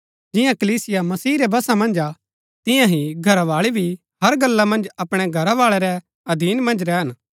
जिआं कलीसिया मसीह रै वशा मन्ज हा तियां ही घरावाळी भी हर गल्ला मन्ज अपणै घरवाळै रै अधीन मन्ज रैहन